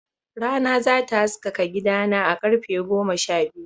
Rana za ta haskaka gidana a karfe goma sha biyu.